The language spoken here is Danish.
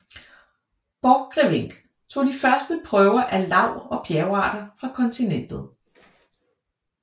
Borchgrevink tog de første prøver af lav og bjergarter fra kontinentet